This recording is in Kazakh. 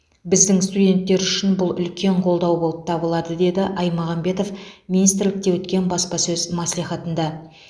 біздің студенттер үшін бұл үлкен қолдау болып табылады деді аймағамбетов министрлікте өткен баспасөз мәслихатында